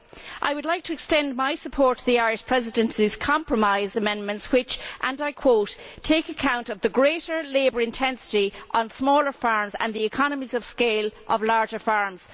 I would like to extend my support to the Irish Presidency's compromise amendments which, and I quote, take account of the greater labour intensity on smaller farms and the economies of scale of larger farms'.